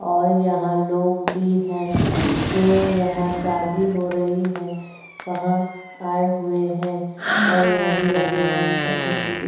और यहां लोग भी हैं जो यहां शादी हो रही है। वहां आए हुए हैं और यहां दूल्हा - दुल्हन पंडित जी भी --